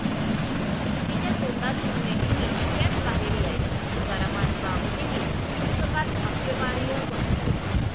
तिच्या तोंडातून नेहमी शिव्याच बाहेर यायच्या', तुकारामांबाबतही पुस्तकात आक्षेपार्ह मजकूर